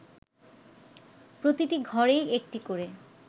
প্রতিটি ঘরেই একটি করে